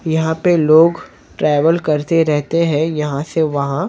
यहाँ पे लोग ट्रेवल करते रहते हैं यहां से वहाँ--